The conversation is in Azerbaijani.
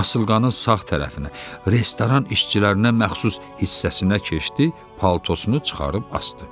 Asılqanın sağ tərəfinə restoran işçilərinə məxsus hissəsinə keçdi, paltosunu çıxarıb asdı.